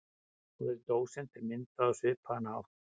Orðið dósent er myndað á svipaðan hátt.